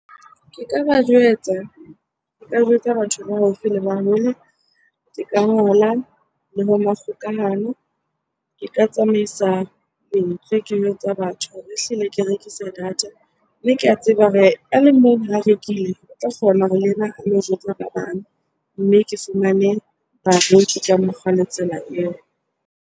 Ke ka ba jwetsa batho ba haufi le ba hole. Ke ka ngola kgokahano. Ke ka tsamaisa lentswe ke jwetsa batho hore ehlile ke rekisa data. Mme ke a tseba hore a le mong ha rekile, o tla tshwanela hore le ena a lo jwetsa ba bang. Mme ke fumane bareki ka mokgwa le tsela eo.